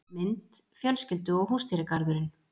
Mynd: Fjölskyldu og húsdýragarðurinn